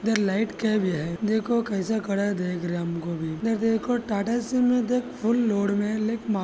इदर light का भी है देखो कैसा खड़ा देख रहे हमको भी ये देखो टाटा सिम इदर फुल्ल लोड में है --